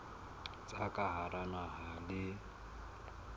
tsa ka hara naha le